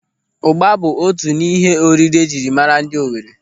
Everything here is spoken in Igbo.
Ụ́gbà bụ otu n'ihe oriri ejiri mara ndị Owere.